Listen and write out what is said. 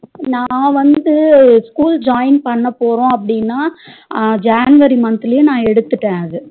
நா வந்து school join பண்ண போறோம் அப்டின january month லயே நா எடுத்துட்டேன் அது